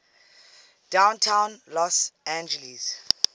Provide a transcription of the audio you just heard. downtown los angeles